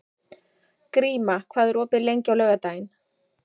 Gríma, hvað er opið lengi á laugardaginn?